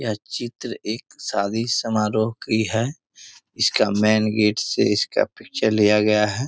यह चित्र एक शादी समारोह की है इसका मैन गेट से इसका पिक्चर लिया गया है।